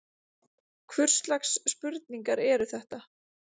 Hvurslags spurningar eru þetta?